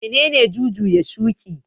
Menene jujuya shuƙi?